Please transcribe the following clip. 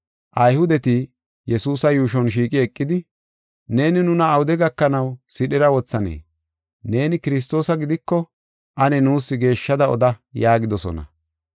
Ayhudeti Yesuusa yuushon shiiqi eqidi, “Neeni nuna awude gakanaw sidhera wothanee? Neeni Kiristoosa gidiko ane nuus geeshshada oda” yaagidosona.